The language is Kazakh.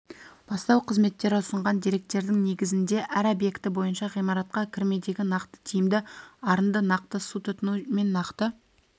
бастау қызметтері ұсынған деректердің негізінде әр объекті бойынша ғимаратқа кірмедегі нақты тиімді арынды нақты су тұтыну мен нақты